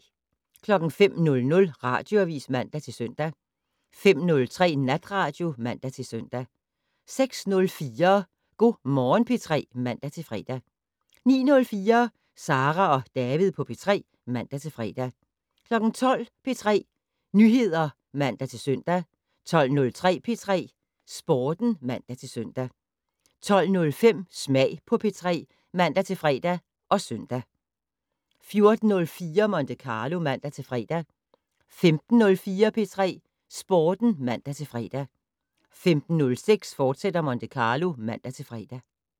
05:00: Radioavis (man-søn) 05:03: Natradio (man-søn) 06:04: Go' Morgen P3 (man-fre) 09:04: Sara og David på P3 (man-fre) 12:00: P3 Nyheder (man-søn) 12:03: P3 Sporten (man-søn) 12:05: Smag på P3 (man-fre og søn) 14:04: Monte Carlo (man-fre) 15:04: P3 Sporten (man-fre) 15:06: Monte Carlo, fortsat (man-fre)